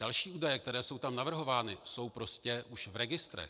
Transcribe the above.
Další údaje, které jsou tam navrhovány, jsou prostě už v registrech.